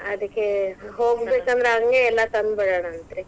ಅದಕ್ಕೆ ಹೋಗಬೇಕಂದ್ರೇ ಅಂಗೆ ಎಲ್ಲಾ ತಂದಬಿಡೋಣಂತರಿ.